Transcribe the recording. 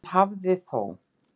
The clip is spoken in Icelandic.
Hann hafi þó